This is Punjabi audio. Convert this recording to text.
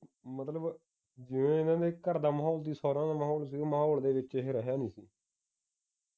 ਮਤਲਬ ਜਿਵੇਂ ਇਨ੍ਹਾਂ ਦੇ ਘਰ ਦਾ ਮਾਹੌਲ ਸੀ ਮਾਹੌਲ ਦੇ ਵਿਚ ਇਹ ਰਿਹਾ ਨਹੀਂ